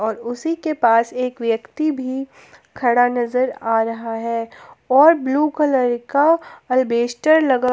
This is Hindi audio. और उसी के पास एक व्यक्ति भी खड़ा नजर आ रहा है और ब्लू कलर का अल्बेस्टर लगा।